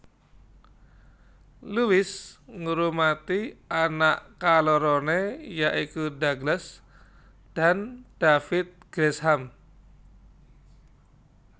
Lewis ngrumati anak kaloroné ya iku Douglas dan David Gresham